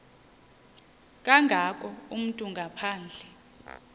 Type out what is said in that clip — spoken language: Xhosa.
kangako umntu ngaphandle